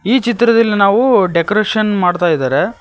ಈ ಚಿತ್ರದಲ್ಲಿ ನಾವು ಡೆಕೋರೇಷನ್ ಮಾಡ್ತಾಯಿದ್ದಾರೆ.